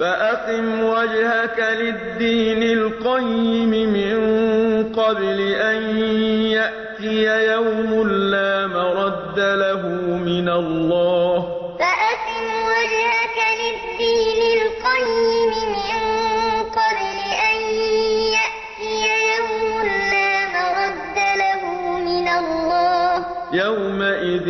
فَأَقِمْ وَجْهَكَ لِلدِّينِ الْقَيِّمِ مِن قَبْلِ أَن يَأْتِيَ يَوْمٌ لَّا مَرَدَّ لَهُ مِنَ اللَّهِ ۖ يَوْمَئِذٍ يَصَّدَّعُونَ فَأَقِمْ وَجْهَكَ لِلدِّينِ الْقَيِّمِ مِن قَبْلِ أَن يَأْتِيَ يَوْمٌ لَّا مَرَدَّ لَهُ مِنَ اللَّهِ ۖ يَوْمَئِذٍ